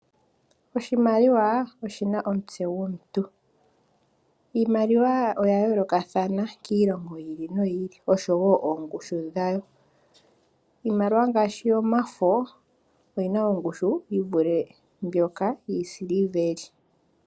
Oshimaliwa oshina omutse gomuntu. Iimaliwa oya yoolokathana kiilongo yi ili no yi ili, osho woo oongushu dha wo. Iimaliwa ngaashi omafo oyi na ongushu yi vule mbyoka yiisiliveli.